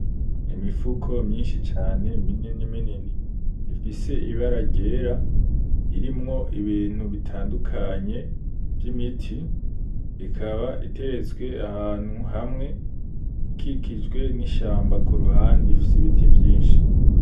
Imifuko myinshi cane minini minini ifise ibara ryera, irimwo ibintu bitandukanye vy'imiti, ikaba iteretswe ahantu hamwe ikikijwe n'ishamba k'uruhande ifise ibiti vyinshi.